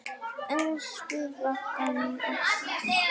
Elsku Ragga okkar.